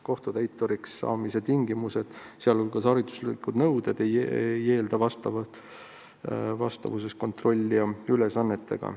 Kohtutäituriks saamise tingimused, sh hariduslikud nõuded ei ole vastavuses kontrollija ülesannetega.